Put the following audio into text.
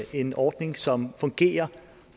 en ordning som fungerer